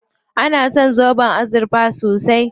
An san zoben azurfa sosai.